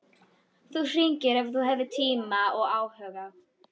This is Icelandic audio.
Þú hringir ef þú hefur tíma og áhuga.